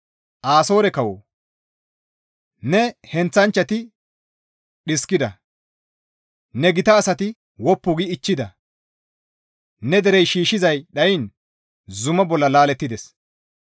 Asoore kawoo, ne heenththanchchati dhiskida; ne gita asati woppu gi ichchida; ne derey shiishshizay dhayiin zuma bolla laalettides.